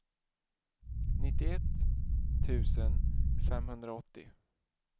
nittioett tusen femhundraåttio